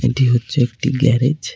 এটি হচ্ছে একটি গ্যারেজ ।